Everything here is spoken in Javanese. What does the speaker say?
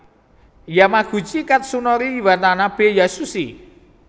Yamaguchi Katsunori Watanabe Yasushi